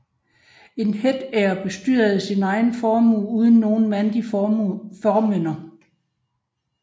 En hetære bestyrede sin egen formue uden nogen mandlig formynder